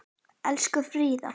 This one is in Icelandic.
Elsku Fríða.